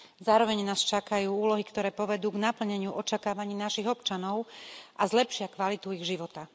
Zároveň nás čakajú úlohy, ktoré povedú k naplneniu očakávaní našich občanov a zlepšia kvalitu ich života.